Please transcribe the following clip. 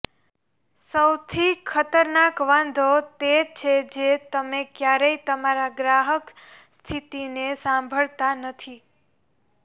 સૌથી ખતરનાક વાંધો તે છે જે તમે ક્યારેય તમારા ગ્રાહક સ્થિતિને સાંભળતા નથી